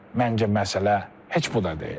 Məncə məsələ heç bu da deyil.